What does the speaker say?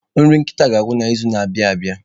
Nri nkịta ga-agwụ n'izu na-abịa abịa.